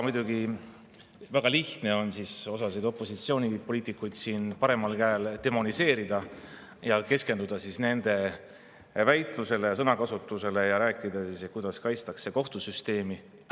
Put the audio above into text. Muidugi väga lihtne on osa opositsioonipoliitikuid siin paremal käel demoniseerida, keskenduda nende väitlusele ja sõnakasutusele ning rääkida, kuidas kaitstakse kohtusüsteemi.